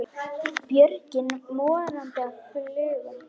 Björgin morandi af fuglum.